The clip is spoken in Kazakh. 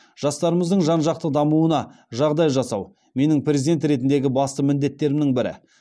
жастарымыздың жан жақты дамуына жағдай жасау менің президент ретіндегі басты міндеттерімнің бірі